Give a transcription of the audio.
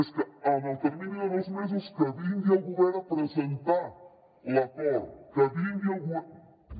és que en el termini de dos mesos que vingui el govern a presentar l’acord que vingui el govern